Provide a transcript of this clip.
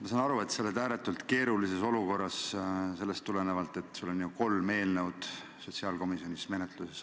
Ma saan aru, et sa oled ääretult keerulises olukorras: sul on ju sotsiaalkomisjonis kolm eelnõu samaaegselt menetluses.